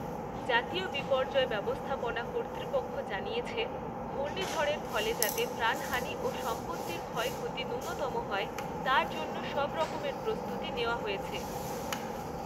জাতীয় বিপর্যয় ব্যবস্থাপনা কর্তৃপক্ষ জানিয়েছে, ঘূর্ণিঝড়ের ফলে যাতে প্রাণহানী ও সম্পত্তির ক্ষয়ক্ষতি ন্যূনতম হয়, তার জন্য সব রকমের প্রস্তুতি নেওয়া হয়েছে।